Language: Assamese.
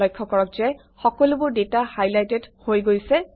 লক্ষ্য কৰক যে সকলোবোৰ ডাটা হাইলাইটেড হৈ গৈছে